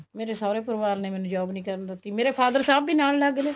ਮੇਰੇ ਸੋਹਰੇ ਪਰਿਵਾਰ ਨੇ ਮੈਨੂੰ job ਨਹੀਂ ਕਰਨ ਦਿੱਤੀ ਮੇਰ father ਸਾਹਬ ਵੀ ਨਾਲ ਲੱਗ ਗਏ